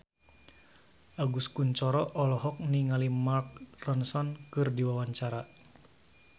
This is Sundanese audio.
Agus Kuncoro olohok ningali Mark Ronson keur diwawancara